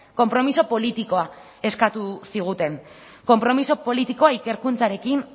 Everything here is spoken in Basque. konpromiso politikoa eskatu ziguten konpromiso politikoa ikerkuntzarekin